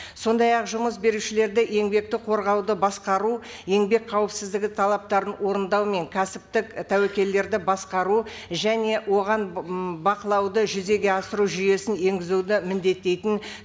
сондай ақ жұмыс берушілерді еңбекті қорғауды басқару еңбек қауіпсіздігі талаптарын орындау мен кәсіптік тәуекелдерді басқару және оған бақылауды жүзеге асыру жүйесін енгізуді міндеттейтін